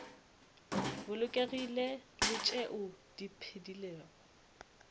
bolokegilego le tšeo di phedilego